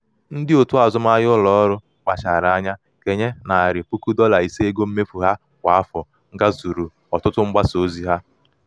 ndị otu azụmahịa ụlọọrụ kpachara anya kenye narị puku dọla ise ego mmefu ha kwa afọ gazuru ọtụtụ mgbasa ozi ha.